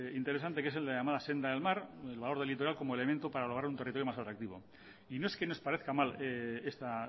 interesante que es el de la llamada senda del mar el valor del litoral como elemento para lograr un territorio más atractivo y no es que nos parezca mal esta